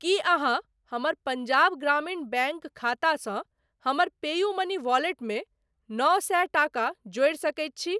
की अहाँ हमर पंजाब ग्रामीण बैंक खातासँ हमर पेयूमनी वॉलेटमे नओ सए टाका जोड़ि सकैत छी ?